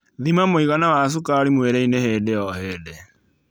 Thima mwĩigana wa sukari mwĩrĩini hĩndĩ o hĩndĩ